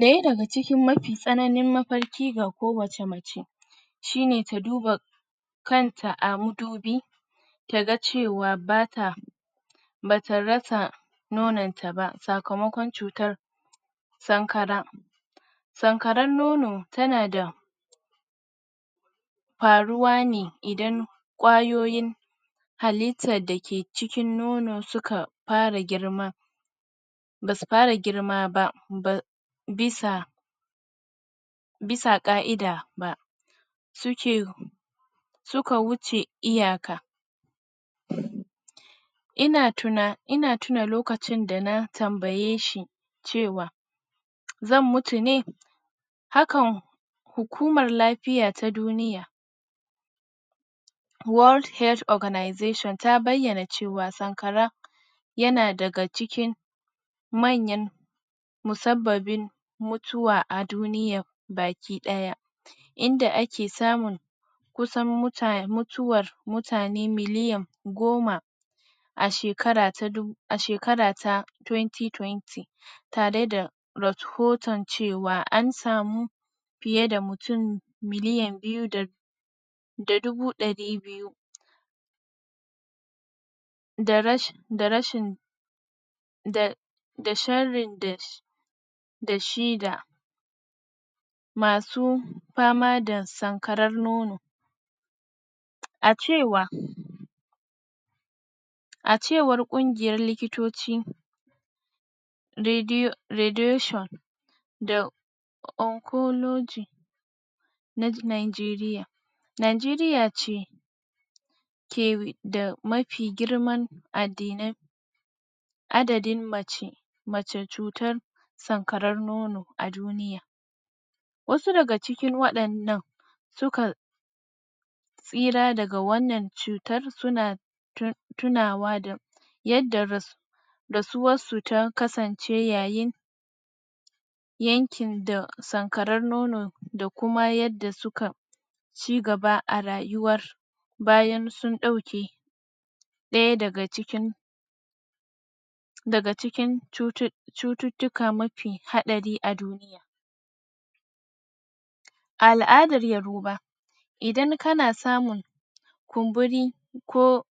Daya daga cikin mafi tsananin mafarki ga kowacce mace shine ta duba kanta a madubi tana cewa ba ta rasa nonon ta ba sakamakon cutar sankara, sankarar nono tana faruwa ne idan kwayoyin hallittar dake cikin nono basu fara girma basu fara girma ba bisa bisa ka'ida ba, suka wuce iyaka, ina tuna lokacin dana tambaye shi cewa zan mutu ne, haka hukumar lafiya ta duniya World health organisation ta bayyana cewa sankara yana daga cikin manyan musabbabin mutuwa a duniya baki daya, inda ake samun mutuwar kusam mutum miliyan goma a shekara ta 2020 tare da tare da rahoton cewa an samu fiye mutum miliyan biyu da dubu dari da rashin da da sharrin da dashi da masu fama da sankarar a cewa a cewar kungiyar likitoci radiation da oncology na Nigeria, Nigeria ce da mafi girman adadin adadin mace masu sankarar nono, wasu daga cikin wadannan su kan da suke tsira daga wannan cutar suna tunawa da yadda rasuwar su ta kasance yayin yankin da sankaren nono da kuma yadda suka cigaba a rayuwa bayan sun dauke daya daga cikin cututtuka mafi hadari a duniya, a aladar yoroba, idan kana samun kumburi ko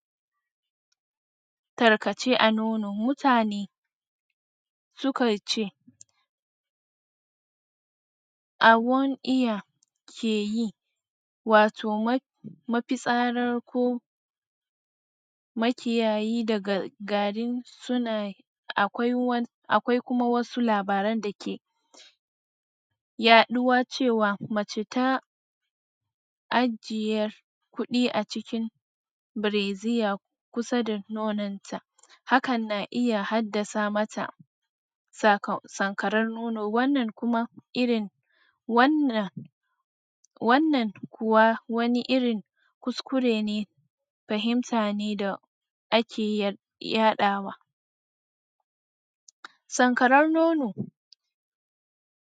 tarkace a nono, mutane sukan ce awon iya ke yi, mato mafitsara ko makiyayi daga gari suna akwai kuma wasu labaran dake yaduwa cewa mace ta ajje kudi a cikin brazier kusa da nonon ta hakan na iya haddasa mata sankaren nono, wannan kuwa wani irin wannan wani irin kuskure ne fahimta da ake yadawa. Sankarar nono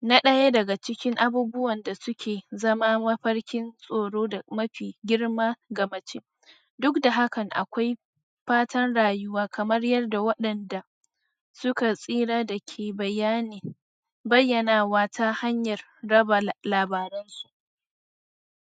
na daya daga cikin abubuwan da suke zama mafarkin tsoro da mafi girma ga mace duk da hakan akwai fatan rayuwa kamar yadda wadanda suka tsira ke bayani bayyanawa ta hanyar raba labaren su.